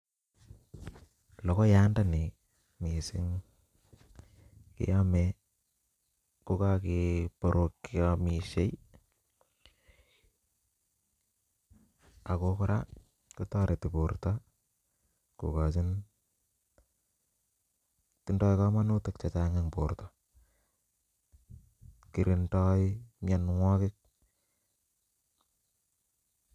Lokoyat ndoni missing keyome kokokeborok cheomishei ako Koraa kotoretin borto kokochin tindoi kominutik che Chang en borto kirindoi mionwokik.